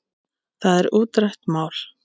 Það er útrætt mál.